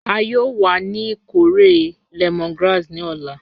A yoo wa ni ikore lemongrass ni ọla.